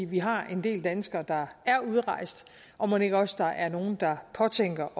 vi har en del danskere der er udrejst og mon ikke også der er nogen der påtænker